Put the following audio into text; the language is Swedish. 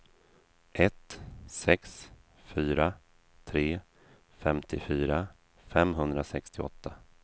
ett sex fyra tre femtiofyra femhundrasextioåtta